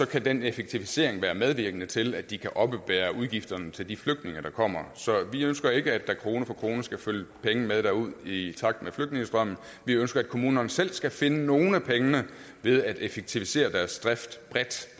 kan den effektivisering være medvirkende til at de kan oppebære udgifterne til de flygtninge der kommer så vi ønsker ikke at der krone for krone skal følge penge med derud i takt med flygtningestrømmen vi ønsker at kommunerne selv skal finde nogle af pengene ved at effektivisere deres drift bredt